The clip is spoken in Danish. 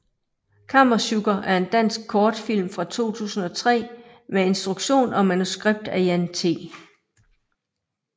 Kammesjukker er en dansk kortfilm fra 2003 med instruktion og manuskript af Jan T